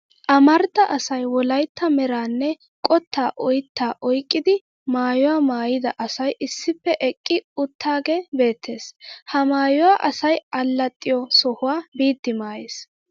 Amarida asay wolaytta meranne qottaa oyttaa oyqqida maayuwa maayida asay issippe eqqi uttaagee beettes. Ha maayuwaa asay allaxiyo sohuwaa biiddi maayes.